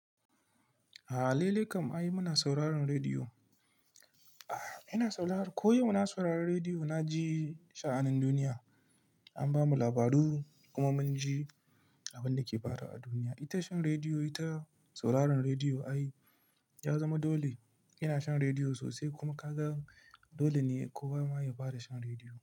A'a, laile kam ai muna sauraron rediyo. Ina saurara, koyo muna sauraron rediyo, na ji sha'anin duniya. An bamu labaru kuma mun ji abin da ke faruwa a duniya. Ita shan rediyo, ita sauraron rediyo ai ya zama dole. Ina shan rediyo sosai kuma ka ga dole ne kowa ma ya fara shan rediyo.